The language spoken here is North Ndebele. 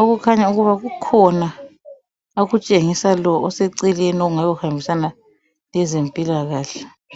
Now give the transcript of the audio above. okukhanya ukuba kukhona akutshengisa lo oseceleni okungabe kuhambisana lezempilakahle.